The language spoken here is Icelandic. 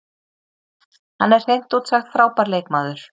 Hann er hreint út sagt frábær leikmaður.